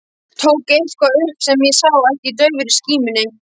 Tók eitthvað upp sem ég sá ekki í daufri skímunni.